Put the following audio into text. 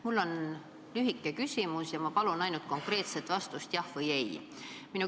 Mul on lühike küsimus ja ma palun ainult konkreetset vastust: jah või ei.